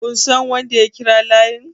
kun San wanda ya kira layin?